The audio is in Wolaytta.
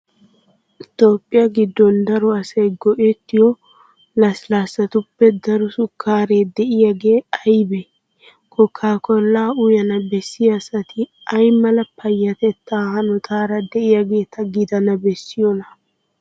Toophphiya giddon daro asay go"ettiyo lasllaassatuppe daro sukkaaree de'iyogee aybee? Kookaa kollaa uyana bessiya asati ay mala payyatettaa hanotaara de'iyageeta gidana bessiyonaa?